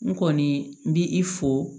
N kɔni n bi i fo